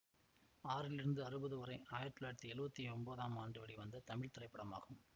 ஆறிலிருந்து அறுபது வரை ஆயிரத்தி தொள்ளாயிரத்தி எழுவத்தி ஒம்போதாம் ஆண்டு வெளிவந்த தமிழ் திரைப்படமாகும்